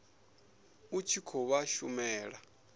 u tshi khou vha shumela